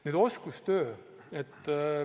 Nüüd oskustööst.